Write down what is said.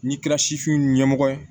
N'i kɛra sifin ɲɛmɔgɔ ye